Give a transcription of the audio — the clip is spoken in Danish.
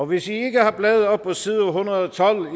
hvis i ikke har bladet op på side en hundrede og tolv